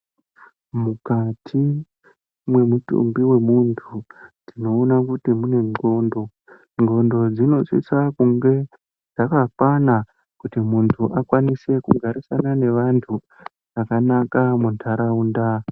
Mukati mwemutumbi wemuntu tinoona kuti mune nxondo. Nxondo dzinosisa kunge dzakakwana kuti muntu akwanise kugarisana nevantu zvakanaka muntaraunda.